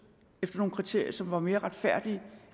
efter nogle kriterier som så var mere retfærdige